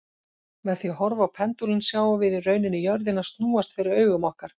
Með því að horfa á pendúlinn sjáum við í rauninni jörðina snúast fyrir augum okkar.